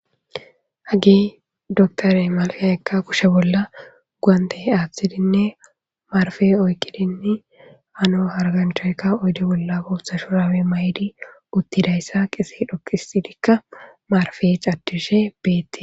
Hagey dokterey marpe ekka kushe bolla guwantte aathidinne marfe oyqqidinne hano hargganchayka oyde bolla bootha shurabe mayidi uttidayssa qese dhoqisidikka marfe caddishe beete.